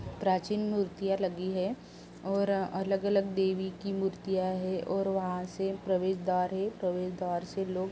प्राचीन मूर्तियाँ लगी है और अलग-अलग देवी की मूर्तियाँ है और वहाँ से प्रवेश द्वार है। प्रवेश द्वार से लोग --